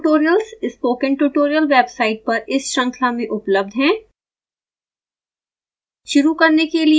इनके सम्बंधित tutorials spoken tutorial website पर इस श्रंखला में उपलब्ध हैं